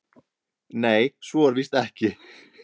Nei, svo er víst ekki.